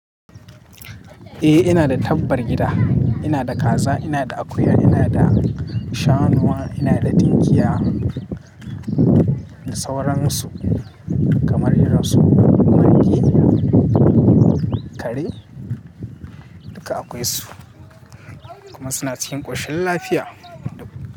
Eh ina da tabbar gida, ina da kaza, ina da akuya, ina da shanuwa, ina da tinkiya, da sauransu kamar irin su marge, kare duka akwai su kuma suna cikin ƙoshin lafiya duk.